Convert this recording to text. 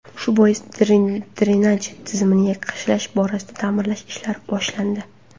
Shu bois drenaj tizimini yaxshilash borasidagi ta’mirlash ishlari boshlandi.